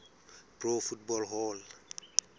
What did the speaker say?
pro football hall